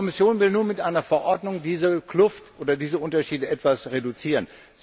Die Kommission will nun mit einer Verordnung diese Kluft oder diese Unterschiede etwas reduzieren.